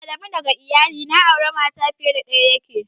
Adamu daga iyali na aure mata fiye da daya yake.